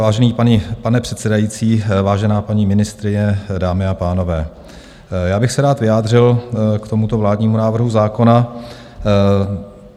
Vážený pane předsedající, vážená paní ministryně, dámy a pánové, já bych se rád vyjádřil k tomuto vládnímu návrhu zákona.